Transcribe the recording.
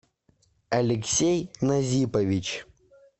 алексей назипович